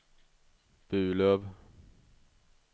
Burlöv